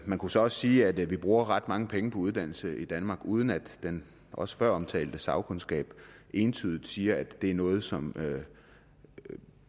man kunne så også sige at vi bruger ret mange penge på uddannelse i danmark uden at den også føromtalte sagkundskab entydigt siger at det er noget som